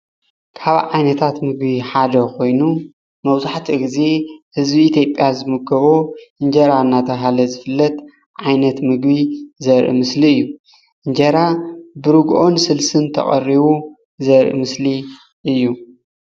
ካብ ዓይነታት ምግቢ ሓደ ኮይኑ መብዛሕቲኡ ግዜ ህዝቢ ኢትዮጵያ ዝምገቦ እንጀራ እናተባህለ ዝፍለጥ ዓይነት ምግቢ ዘርኢ ምስሊ እዩ እንጀራ ብርግኦን ስልስን ተቐሪቡ ዘርኢ ምስሊ እዩ።